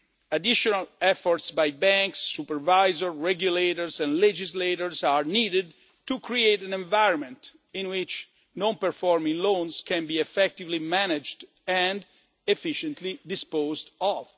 go. Additional efforts by banks, supervisors, regulators and legislators are needed to create an environment in which non performing loans can be effectively managed and efficiently disposed